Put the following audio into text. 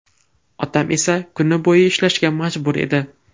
Otam esa kuni bo‘yi ishlashga majbur edi.